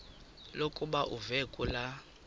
lokuba uve kulaa